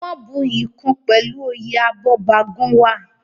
Wọ́n buyì kun pẹ̀lú oyè Abọ́bagúnwà.